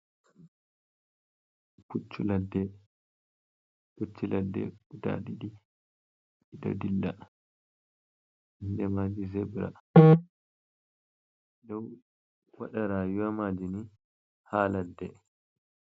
Puccu ladde, pucchu ladde guda ɗiɗi ɗo dilla, inde maji zebra, ɗi ɗo dou waɗa rayuwa ma ji ni ha ladde.